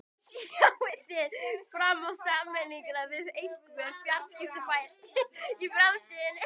Sjáið þið fram á sameiningar við einhver fjarskiptafyrirtæki í framtíðinni?